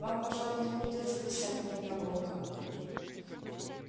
вам пожалуй не придётся писать мне про волка